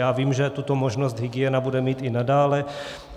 Já vím, že tuto možnost hygiena bude mít i nadále.